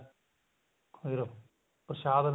ਫ਼ਿਰ ਪ੍ਰਸ਼ਾਦ